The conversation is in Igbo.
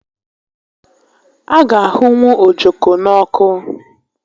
A ga ahụnwụ ojoko n'ọkụ